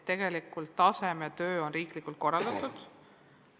Tegelikult on tasemetöö riiklikult korraldatud.